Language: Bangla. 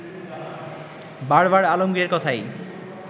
বারবার আলমগীরের কথাই